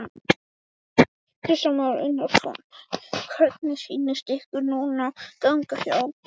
Kristján Már Unnarsson: Hvernig sýnist ykkur núna ganga hjá honum?